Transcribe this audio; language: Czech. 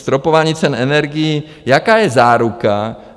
Stropování cen energií - jaká je záruka?